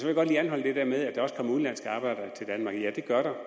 jeg godt lige anholde det der med at der også kommer udenlandske arbejdere til danmark ja det gør der